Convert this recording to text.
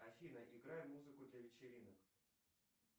афина играй музыку для вечеринок